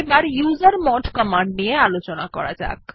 এবার user mode command নিয়ে আলোচনা করা যাক